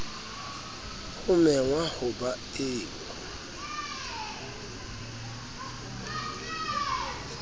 ho mengwa ho ba eo